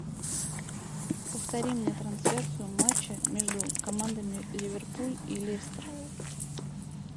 повтори мне трансляцию матча между командами ливерпуль и лестер